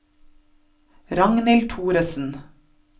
Ragnhild Thoresen